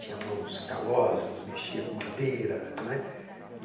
Tinha mãos calosas, mexia com madeira, né